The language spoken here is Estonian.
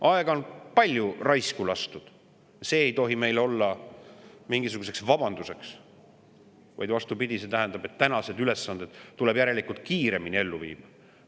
Aega on palju raisku lastud, aga see ei tohi meile olla mingisuguseks vabanduseks, vaid vastupidi, see tähendab, et tänased ülesanded tuleb järelikult kiiremini ellu viia.